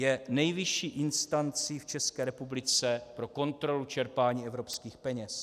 Je nejvyšší instancí v České republice pro kontrolu čerpání evropských peněz.